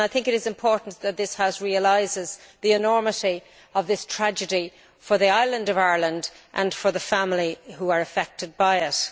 I think it is important that this House realises the enormity of this tragedy for the island of Ireland, and for the family affected by it.